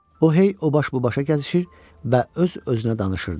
O hey o baş bu başa gəzişir və öz-özünə danışırdı.